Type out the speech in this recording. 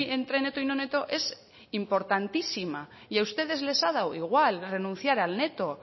entre neto y no neto es importantísima y a ustedes les ha dado igual renunciar al neto